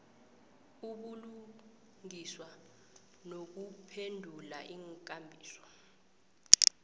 ubulungiswa nokuphendula iinkambiso